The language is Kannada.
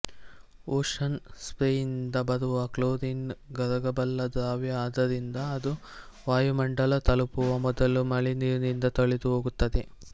ಓಶನ್ ಸ್ಪ್ರೇಯಿಂದ ಬರುವ ಕ್ಲೋರಿನ್ ಕರಗಬಲ್ಲ ದ್ರಾವ್ಯ ಆದ್ದರಿಂದ ಅದು ವಾಯುಮಂಡಲ ತಲುಪುವ ಮೊದಲು ಮಳೆನೀರಿನಿಂದ ತೊಳೆದು ಹೋಗುತ್ತದೆ